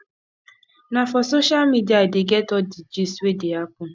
na for social media i dey get all di gist wey dey happen